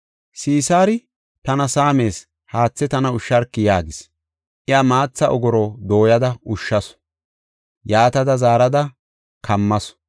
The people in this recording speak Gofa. Sisaari, “Tana saamees; haathe tana ushsharki” yaagis. Iya maatha ogoro dooyada ushshasu; yaatada zaarada kammasu.